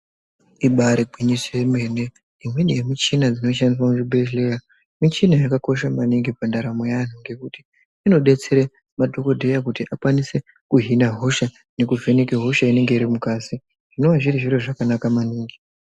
Ibari gwinyiso yemene imweni yemichina dzinoshandiswa muzvibhedhleya michina yakakosha maningi mundaramo yevantu ngekuti inodetsera madhokodheya kuti akwanise kuhina hosha nekuvheneka hosha inenge iri mungazi zvinova zviri zviro zvakanaka maningi.